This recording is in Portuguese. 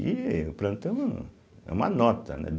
E o plantão é uma nota, né?